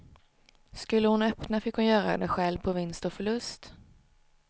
Skulle hon öppna fick hon göra det själv på vinst och förlust.